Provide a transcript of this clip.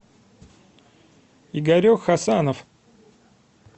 игорек хасанов